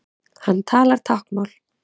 Hann talar táknmál.